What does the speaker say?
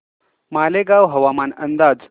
मालेगाव हवामान अंदाज